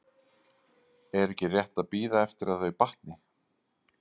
Er ekki rétt að bíða eftir að þau batni?